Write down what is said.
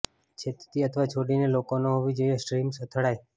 છેદતી અથવા છોડીને લોકો ન હોવી જોઈએ સ્ટ્રીમ્સ અથડાઈ